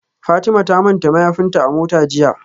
Fatima ta manta mayafinta a mota jiya